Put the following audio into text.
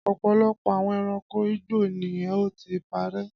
Ọ̀pọ̀lọpọ̀ àwọn ẹranko igbó ni ó ti parẹ́.